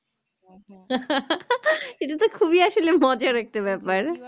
এটাতো খুবই আসলে মজার একটা ব্যাপার